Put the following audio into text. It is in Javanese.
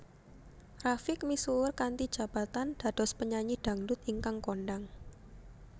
Rafiq misuwur kanthi jabatan dados penyanyi dhangdhut ingkang kondhang